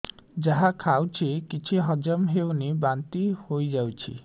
ଯାହା ଖାଉଛି କିଛି ହଜମ ହେଉନି ବାନ୍ତି ହୋଇଯାଉଛି